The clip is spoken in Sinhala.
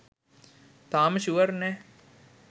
තාම ෂුවර් නෑ